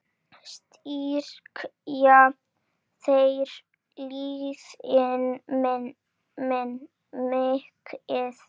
Styrkja þeir liðin mikið?